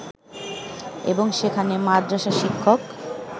এবং সেখানে মাদ্রাসা শিক্ষক